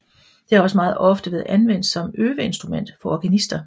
Det har også meget ofte været anvendt som øveinstrument for organister